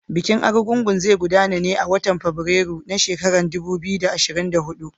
Bikin Argungu zai gudana a watan Fabrairu na shekarar dubu biyu da ashirin da hudu.